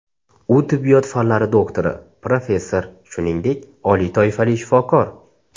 U tibbiyot fanlari doktori, professor, shuningdek, oliy toifali shifokor.